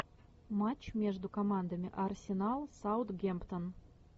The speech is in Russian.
матч между командами арсенал саутгемптон